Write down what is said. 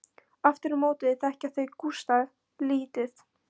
Aftur á móti þekkja þau Gústa lítið.